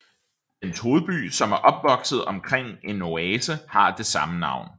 Dens hovedby som er opvokset omkring en oase har det samme navn